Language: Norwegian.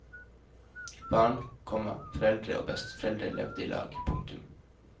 Barn, komma foreldre og besteforeldre levde ilag. punktum